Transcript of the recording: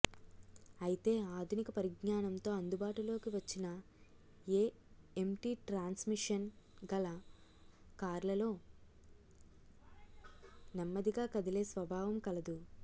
అయితే ఆధునిక పరిజ్ఞానంతో అందుబాటులోకి వచ్చిన ఏఎమ్టి ట్రాన్స్మిషన్ గల కార్లలో నెమ్మదిగా కదిలే స్వభావం కలదు